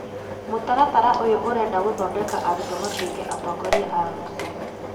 Mũtaratara ũyũ ũrenda gũthondeka arutwo matuĩke atongoria a rũciũ